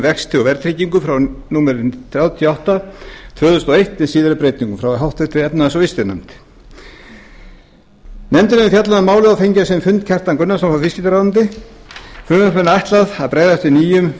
vexti og verðtryggingu númer þrjátíu og átta tvö þúsund og eitt með síðari breytingum frá háttvirtri efnahags og viðskiptanefnd nefndin hefur fjallað um málið og fengið á sinn fund kjartan gunnarsson frá viðskiptaráðuneyti frumvarpinu er ætlað að bregðast við nýjum